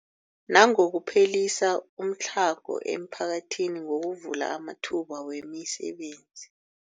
Nangokuphelisa umtlhago emiphakathini ngokuvula amathuba wemisebenzi.